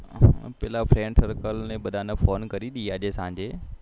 પેલા ને phone કરી દઈએ આજે સાંજે